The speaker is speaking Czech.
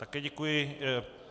Také děkuji.